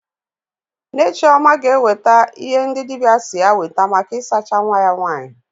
Nne Chioma ga-ewete ihe ndị dibịa si ya weta maka isacha nwa ya nwaanyị.